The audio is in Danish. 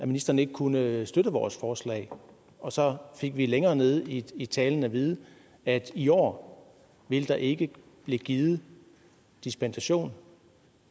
ministeren ikke kunne støtte vores forslag og så fik vi længere nede i talen at vide at i år vil der ikke blive givet dispensation